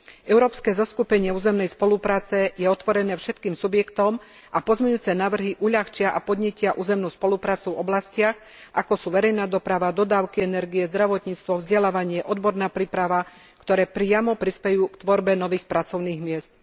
Európske zoskupenie územnej spolupráce je otvorené všetkým subjektom a pozmeňujúce návrhy uľahčia a podnietia územnú spoluprácu v oblastiach, ako sú verejná doprava, dodávky energie, zdravotníctvo, vzdelávanie, odborná príprava, ktoré priamo prispejú k tvorbe nových pracovných miest.